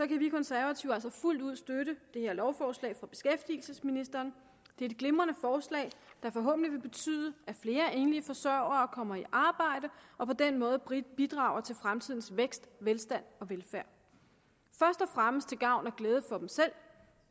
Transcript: kan vi konservative altså fuldt ud støtte det her lovforslag fra beskæftigelsesministeren det er et glimrende forslag der forhåbentlig vil betyde at flere enlige forsørgere kommer i arbejde og på den måde bidrager til fremtidens vækst velstand og velfærd først og fremmest til gavn og glæde for dem selv